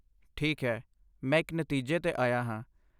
ਠੀਕ ਹੈ, ਮੈਂ ਇੱਕ ਨਤੀਜੇ 'ਤੇ ਆਇਆ ਹਾਂ।